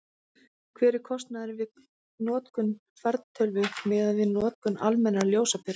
hver er kostnaðurinn við notkun fartölvu miðað við notkun almennrar ljósaperu